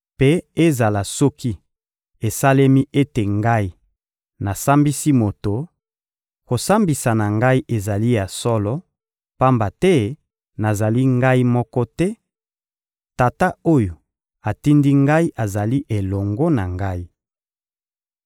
Mpe ezala soki esalemi ete Ngai nasambisi moto, kosambisa na Ngai ezali ya solo, pamba te nazali Ngai moko te: Tata oyo atindi Ngai azali elongo na Ngai.